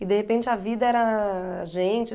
E, de repente, a vida era a gente.